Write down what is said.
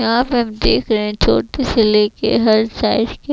यहाँ पे हम देख रहे है छोटे से ले के हर साइज के --